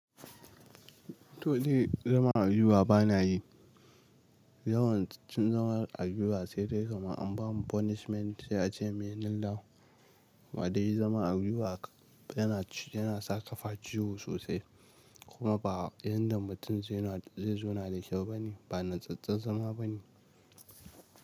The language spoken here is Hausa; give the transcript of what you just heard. To dai zama a inuwa bana yi. Yawan cin zama a inuwa sai dai gama an bani punishment sai a ce muyi kneel down. Waɗanda yayi zama a inuwa yana, yana saka fa ciwo sosai kuma ba inda mutum zai zo na da kyau bane, ba natsattsen zama bane.